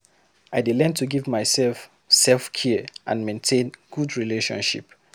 I dey learn to give myself self-care and maintain good relationship.